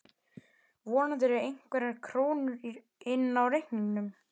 Vonandi eru einhverjar krónur inni á reikningnum.